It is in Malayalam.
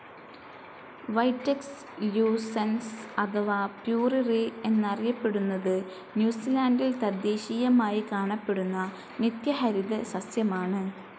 വൈറ്റക്സ് ല്യൂസൻസ് അഥവാ പ്യൂറിറി എന്നറിയപ്പെടുന്നത് ന്യൂസിലാന്റിൽ തദ്ദേശീയമായി കാണപ്പെടുന്ന നിത്യഹരിത സസ്യമാണ്.